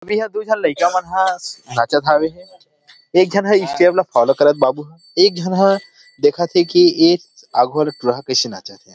ईहा दु झन लईका मन ह नाचत हवे एक झन ह स्टेप ल फॉलो करत ह बाबू ह एक जन ह देखत हे की ए आघू वाला टूरा ह कैसे नाचत हे ।